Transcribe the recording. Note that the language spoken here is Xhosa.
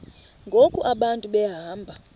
ngoku abantu behamba